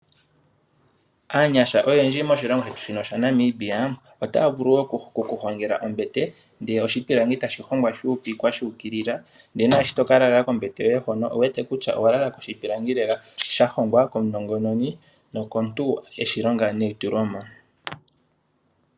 Aanyasha oyendji moshilongo shetu shino shaNamibia otaya vulu okuhongela ombete. Oshipilangi ohashi hongwa shu upikwa shu ukilila, ndele nomuntu shi taka lala kombete ye hoka okuwete kutya okwa lala koshipilangi sha hongwa komunongononi nokomuntu e shi longa neitulemo.